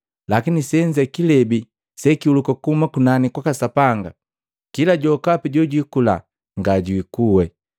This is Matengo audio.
Lakini senze kilebi sekihuluka kuhuma kunani kwaka Sapanga kila mundu jokapi jojukula nga jwiikuwe.